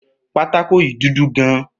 Pátákó yìí dúdú gan